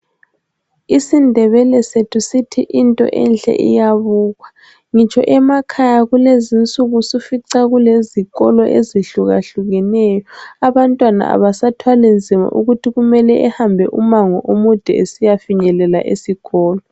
IsiNdebele sethu sithi into enhle iyabukwa. Ngitsho emakhaya kulezinsuku usufica kulezikolo ezihlukahlukeneyo. Abantwana abasathwali nzima ukuthi kumele behambe umango omude esiyafinyelela esikolo.